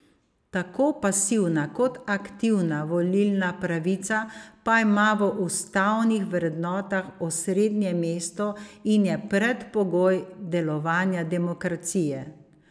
Tako pasivna kot aktivna volilna pravica pa ima v ustavnih vrednotah osrednje mesto in je predpogoj delovanja demokracije.